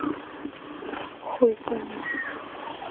хуй коня